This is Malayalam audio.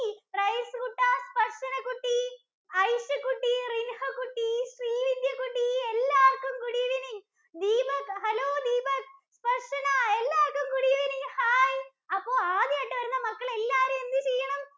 റയിസ് കുട്ടാ, ദര്‍ശന കുട്ടീ, ഐഷ കുട്ടീ, റിന്‍ഹ കുട്ടി, ശ്രീവിദ്യ കുട്ടി എല്ലാവര്‍ക്കും good evening. Deepak hello Deepak, Darshana എല്ലാവര്‍ക്കും good evening. ഹായ്, അപ്പോ ആദ്യായിട്ട് വരുന്ന മക്കൾ എല്ലാവരും എന്ത് ചെയ്യണം?